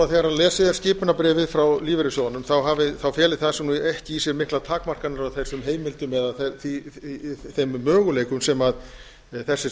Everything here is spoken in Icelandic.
þegar lesið er skipunarbréfið frá lífeyrissjóðunum feli það ekki í sér miklar takmarkanir á þessum heimildum eða þeim möguleikum sem þessir